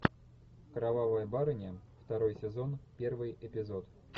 кровавая барыня второй сезон первый эпизод